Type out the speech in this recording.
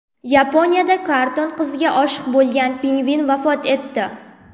Yaponiyada karton qizga oshiq bo‘lgan pingvin vafot etdi.